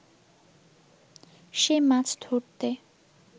সে মাছ ধরতে